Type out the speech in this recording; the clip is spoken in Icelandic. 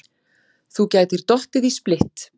Þú gætir dottið í splitt.